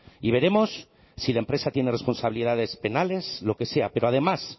y veremos si la empresa tiene responsabilidades penales lo que sea pero además